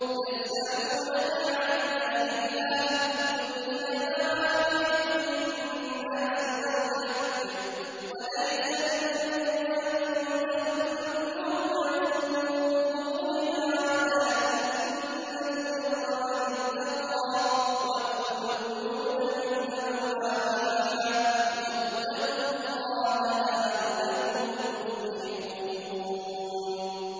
۞ يَسْأَلُونَكَ عَنِ الْأَهِلَّةِ ۖ قُلْ هِيَ مَوَاقِيتُ لِلنَّاسِ وَالْحَجِّ ۗ وَلَيْسَ الْبِرُّ بِأَن تَأْتُوا الْبُيُوتَ مِن ظُهُورِهَا وَلَٰكِنَّ الْبِرَّ مَنِ اتَّقَىٰ ۗ وَأْتُوا الْبُيُوتَ مِنْ أَبْوَابِهَا ۚ وَاتَّقُوا اللَّهَ لَعَلَّكُمْ تُفْلِحُونَ